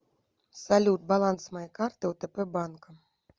салют баланс моей карты отп банка